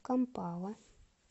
кампала